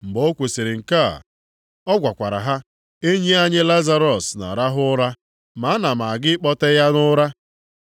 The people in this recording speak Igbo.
Mgbe o kwusiri nke a, ọ gwakwara ha, “Enyi anyị Lazarọs na-arahụ ụra, ma ana m aga ịkpọte ya nʼụra.”